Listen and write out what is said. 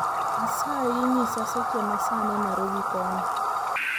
Asayi nyisa seche ma sani narobi kono